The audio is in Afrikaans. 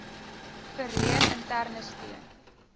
verleen interne steun